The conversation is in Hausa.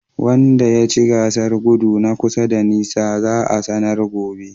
Wanda yace gasar godu na kusa da nisa za'a sanar gobe.